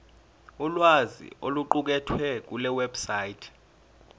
ulwazi oluqukethwe kulewebsite